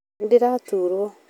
Nĩndĩraturwo.